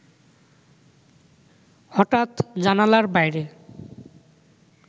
হঠাৎ জানালার বাইরে